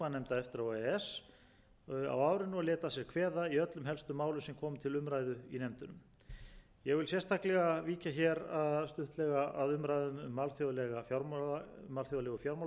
e s á árinu og lét að sér kveða í öllum helstu málum sem komu til umræðu í nefndunum ég vil sérstaklega víkja hér stuttlega að umræðum um alþjóðlegu fjármálakreppuna og bankahrunið á íslandi enda komu þau